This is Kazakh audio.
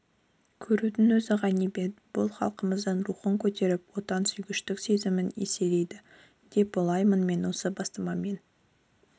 көрудің өзі ғанибет бұл халықымыздың рухын көтеріп отансүйгіштік сезімін еселейді деп ойлаймын мен осы бастамаммен